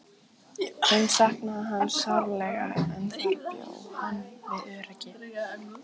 Hún saknaði hans sárlega en þar bjó hann við öryggi.